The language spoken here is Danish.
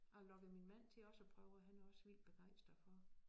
Jeg har lokket min mand til også at prøve og han er også vildt begejstret for det